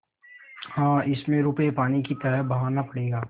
हाँ इसमें रुपये पानी की तरह बहाना पड़ेगा